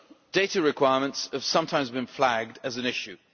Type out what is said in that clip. Data requirements have sometimes been flagged as an issue.